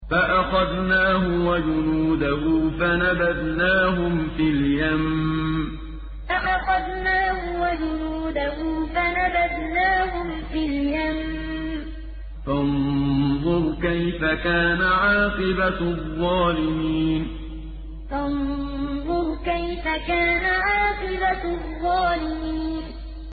فَأَخَذْنَاهُ وَجُنُودَهُ فَنَبَذْنَاهُمْ فِي الْيَمِّ ۖ فَانظُرْ كَيْفَ كَانَ عَاقِبَةُ الظَّالِمِينَ فَأَخَذْنَاهُ وَجُنُودَهُ فَنَبَذْنَاهُمْ فِي الْيَمِّ ۖ فَانظُرْ كَيْفَ كَانَ عَاقِبَةُ الظَّالِمِينَ